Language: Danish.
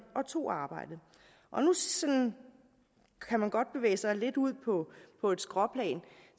og tog arbejdet nu kan man godt bevæge sig lidt ud på et skråplan